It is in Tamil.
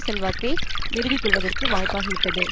செல்வாக்கை நிறுவிக்கொள்வதற்கு வாய்ப்பாகிவிட்டது